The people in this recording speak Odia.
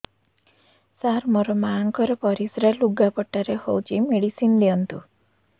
ସାର ମୋର ମାଆଙ୍କର ପରିସ୍ରା ଲୁଗାପଟା ରେ ହଉଚି ମେଡିସିନ ଦିଅନ୍ତୁ